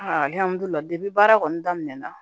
baara kɔni daminɛna